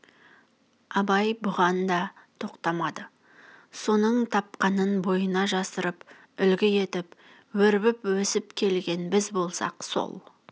абай бұған да тоқтамады соның тапқанын бойына жапсырып үлгі етіп өрбіп өсіп келген біз болсақ сол